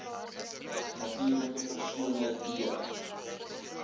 natuurlike persone d